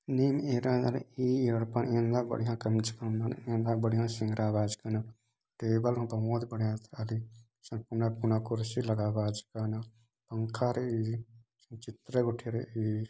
निन एरादन ई एडपा एन्दा बढ़िया कमच कदन एन्दा बढ़िया शिन्ग्रा बाचकान टेबल हों बहुत बढ़िया एथ्राली कोना कोना कुर्शी लगा बाचकान पंखा रई चित्र उठे ई |